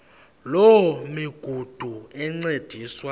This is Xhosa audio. loo migudu encediswa